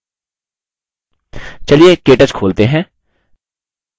चलिए केटच खोलते हैं